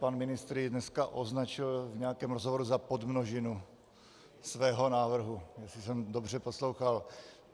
Pan ministr jej dneska označil v nějakém rozhovoru za podmnožinu svého návrhu, jestli jsem dobře poslouchal.